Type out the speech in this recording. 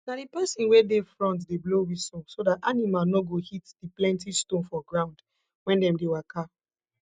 na di persin wey dey front dey blow whistle so dat animal no go hit di plenty stone for ground wen dem dey waka